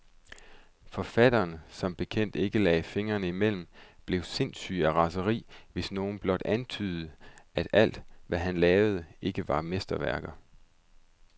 Forfatteren, der som bekendt ikke lagde fingrene imellem, blev sindssyg af raseri, hvis nogen blot antydede, at alt, hvad han lavede, ikke var mesterværker.